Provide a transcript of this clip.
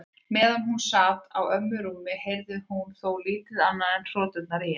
Meðan hún sat á ömmu rúmi heyrði hún þó lítið annað en hroturnar í henni.